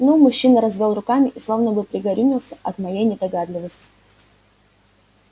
ну мужчина развёл руками и словно бы пригорюнился от моей недогадливости